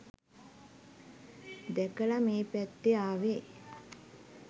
දැකල මේ පැත්තෙ ආවෙ